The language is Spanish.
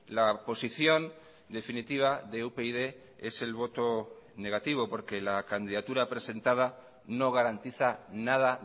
la posición definitiva de upyd es el voto negativo porque la candidatura presentada no garantiza nada